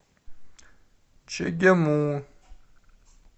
чегему